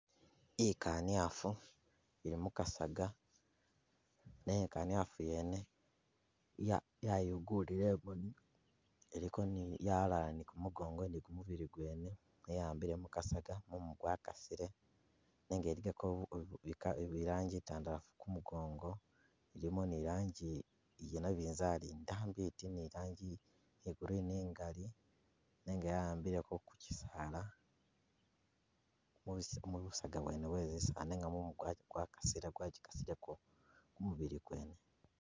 Ikaniafu ili mukasaga, nenga ikaniafu yene ya- yayungulile imoni iliko ni- ya'alala ni gumugongo ni gumubili gwene ne ya'ambile mukasaga mumu gwakasile nenga iligako i ka- i rangi itandalafu ku mugongo ilimo ni rangi iyanabinzali ndambi iti ni rangi iya green igali nenga ya'ambileko kukyisaala mus- mu busaga bwene bwezisa nenga mumu gwak- gwakasi- gwagikasileko ku mubili gwene.